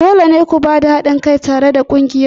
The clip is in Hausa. Dole ne ku ba da haɗin kai tare da ƙungiyar ku!